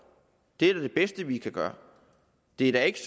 det er da det bedste vi kan gøre det er da ikke